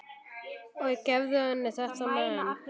Og gefðu henni þetta men.